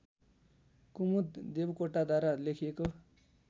कुमुद देवकोटाद्वारा लेखिएको